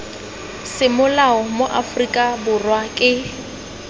semolao mo aforika borwa ke